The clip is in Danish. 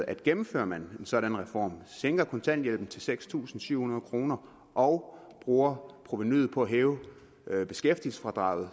at gennemfører man en sådan reform sænker kontanthjælpen til seks tusind syv hundrede kroner og bruger provenuet på at hæve beskæftigelsesfradraget